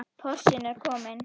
Porsinn er kominn.